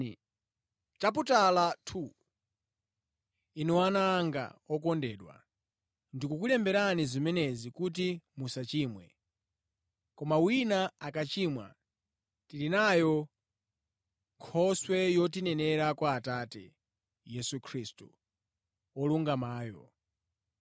Inu Ana anga okondedwa, ndikukulemberani zimenezi kuti musachimwe. Koma wina akachimwa, tili nayo Nkhoswe yotinenera kwa Atate, Yesu Khristu, Wolungamayo.